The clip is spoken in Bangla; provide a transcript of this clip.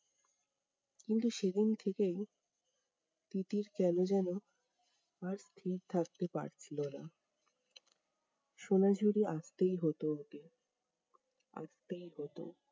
কিন্তু সেদিন থেকেই তিতির কেনো যেনো, আর স্থির থাকতে পারছিলো না। সোনা ঝুড়ি আসতেই হতো ওকে, আসতেই হতো।